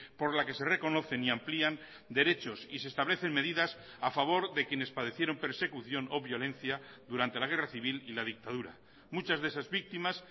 por la que se reconocen y amplían derechos y se establecen medidas a favor de quienes padecieron persecución o violencia durante la guerra civil y la dictadura muchas de esas víctimas